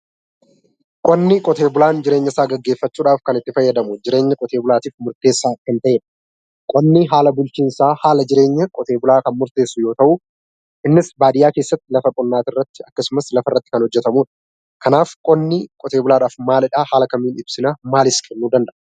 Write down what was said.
Qonni, qotee bulaan jireenya isaa gaggeeffachuuf kan itti fayyadamu jireenya qotee bulaatiif murteessaa kan ta'eedha. Qonni haala bulchiinsaa, haala jireenya qotee bulaa kan murteessu yoo ta'u, innis baadiyyaa keessatti lafa qonnaa akkasumas lafa irratti kan hojjetamudha. Kanaaf qonni qotee bulaadhaaf maalidha? Akkamiin ibsinaa? Maalis kennuu danda'a?